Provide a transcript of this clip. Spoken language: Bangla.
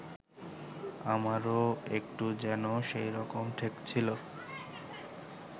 আমারও একটু যেন সেইরকম ঠেকছিল